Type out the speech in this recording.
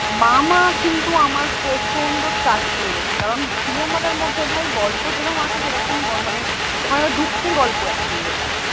মামা কিন্তু আমার প্রচন্ড touch লেগেছে কারণ cinema টার মধ্যে ভাই গল্প যেরম আছে সেরকম মানে ওখানে দুঃখের গল্প actually ওটা